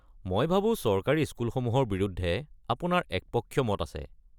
মই ভাবো চৰকাৰী স্কুলসমূহৰ বিৰুদ্ধে আপোনাৰ একপক্ষীয় মত আছে।